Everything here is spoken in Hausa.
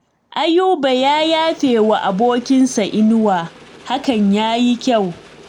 Ayuba ya yafe wa abokinsa Inuwa, hakan ya yi kyau